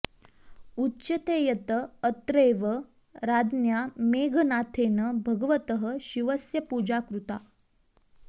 उच्यते यत् अत्रैव राज्ञा मेघनाथेन भगवतः शिवस्य पूजा कृता